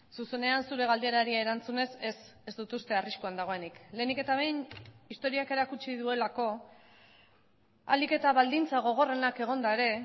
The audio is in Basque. zuzenean zure galderari erantzunez ez ez dut uste arriskuan dagoenik lehenik eta behin historiak erakutsi duelako ahalik eta baldintza gogorrenak egonda ere